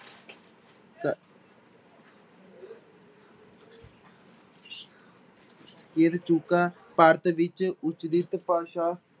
ਚੁੱਕਾ ਭਾਰਤ ਵਿੱਚ ਉਚਰਿਤ ਭਾਸ਼ਾ